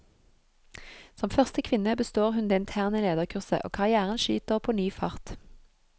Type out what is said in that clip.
Som første kvinne består hun det interne lederkurset, og karrièren skyter på ny fart.